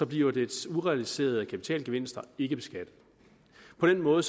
bliver dets urealiserede kapitalgevinster ikke beskattet på den måde